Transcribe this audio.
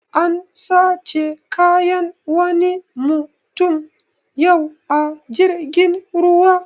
An sace kayan wani mutum yau a jirgin ruwa